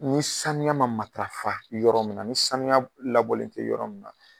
Ni sanuya ma matarafa yɔrɔ mun na ni sanuya labɔlen te yɔrɔ min na